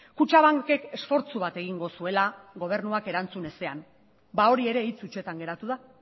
kutxabankek esfortzu bat egingo zuela gobernuak erantzun ezean ba hori ere hitz hutsetan geratu da